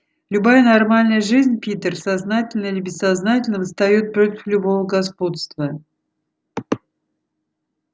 любая нормальная жизнь питер сознательно или бессознательно восстаёт против любого господства